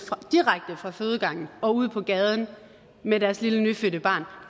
direkte fra fødegangen og ud på gaden med deres lille nyfødte barn